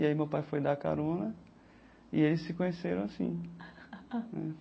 E aí meu pai foi dar carona e eles se conheceram assim.